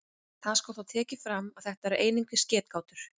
Það skal þó tekið fram að þetta eru einungis getgátur.